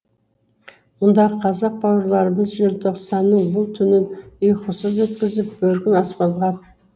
мұндағы қазақ бауырларымыз желтоқсанның бұл түнін ұйқысыз өткізіп бөркін аспанға